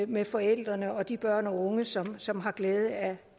med forældrene og de børn og unge som som har glæde af